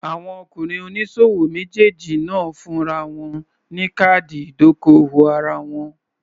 Àwọn ọkùnrin oníṣòwò méjèèjì náà fúnra wọn ní káàdì ìdókòwò ara wọn.